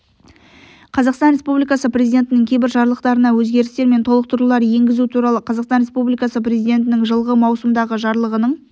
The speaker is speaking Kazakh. қазақстан республикасы президентінің кейбір жарлықтарына өзгерістер мен толықтырулар енгізу туралы қазақстан республикасы президентінің жылғы маусымдағы жарлығының